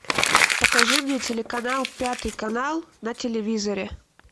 покажи мне телеканал пятый канал на телевизоре